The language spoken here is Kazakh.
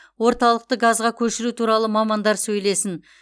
орталықты газға көшіру туралы мамандар сөйлесін